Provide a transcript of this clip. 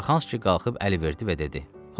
Suraxanski qalxıb əl verdi və dedi: